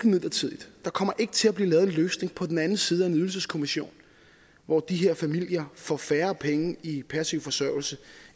midlertidigt der kommer ikke til at blive lavet en løsning på den anden side af en ydelseskommission hvor de her familier får færre penge i passiv forsørgelse